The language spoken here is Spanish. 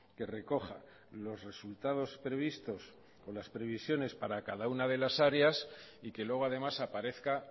que recoja los resultados previstos con las previsiones para cada una de las áreas y que luego además aparezca